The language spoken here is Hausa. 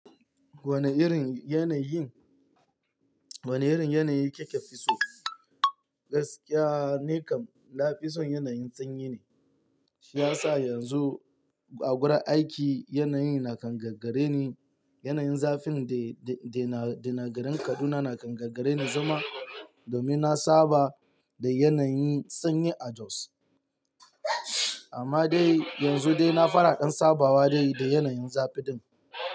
Wane irin yanayi, wane irin yanayi kika fi so? Gaskiya nikan, na fi son yanayin sanyi ne. Shi ya sa yanzu a wurin aiki yanayi na kangare ne. Yanayin zafi dai na garin Kaduna na kangare ni zuma domin na saba da yanayin sanyi a Jos. Amma dai yanzu dai na fara ɗn sabawa dai da yanayin zafin nan.